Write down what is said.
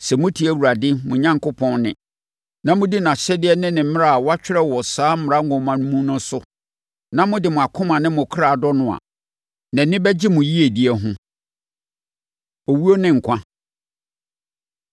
Sɛ motie Awurade, mo Onyankopɔn, nne, na modi nʼahyɛdeɛ ne ne mmara a wɔatwerɛ wɔ saa mmara nwoma no mu no so, na mode mo akoma ne mo kra dɔ no a, nʼani bɛgye mo yiedie ho. Owuo Ne Nkwa